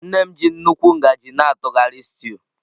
Nne m ji nnukwu ngaji na-atụgharị stew.